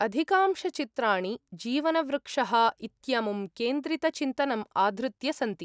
अधिकांशचित्राणि 'जीवनवृक्षः’ इत्यमुं केन्द्रितचिन्तनं आधृत्य सन्ति।